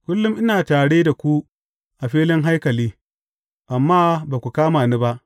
Kullum ina tare da ku a filin haikali, amma ba ku kama ni ba.